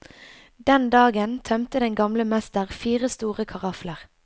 Den dagen tømte den gamle mester fire store karafler.